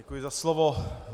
Děkuji za slovo.